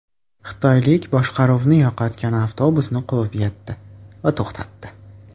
Xitoylik boshqaruvni yo‘qotgan avtobusni quvib yetdi va to‘xtatdi.